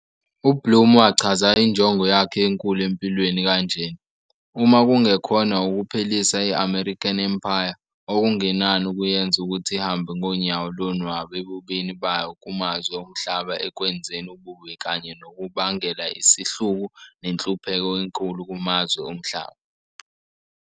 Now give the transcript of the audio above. UBlum wachaza injongo yakhe enkulu empilweni kanjena - "Uma kungekhona ukuphelisa i-American Empire, okungenani ukuyenza ukuthi ihambe ngonyawo lonwabu ebubini bayo kumazwe omhlaba ekwenzeni ububi kanye nokubangela isihluku nenhlupheko enkulu kumazwe omhlaba."